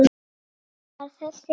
Var þess virði!